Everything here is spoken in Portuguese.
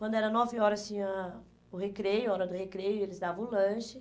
Quando era nove horas, tinha o recreio, hora do recreio, eles davam o lanche.